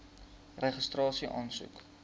registrasieaansoek